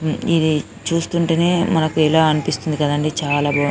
ఇది చూస్తుంటేనే మనకు ఎలా అనిపిస్తుంది కదండీ చాల బాగుంది